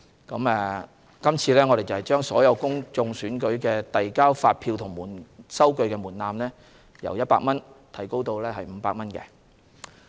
我們這次亦將所有公共選舉遞交發票及收據的門檻由100元提高至500元。